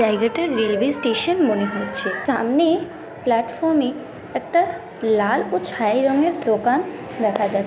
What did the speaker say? জায়গাটা railway station মনে হচ্ছে। সামনে প্ল্যাটফর্মে একটা লাল ও ছাই রঙ এর দোকান দেখা যাচ্ছে।